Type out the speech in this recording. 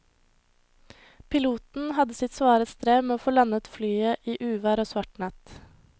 Piloten hadde sitt svare strev med å få landet flyet i uvær og svart natt.